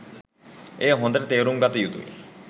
එය හොඳට තේරුම්ගත යුතුයි.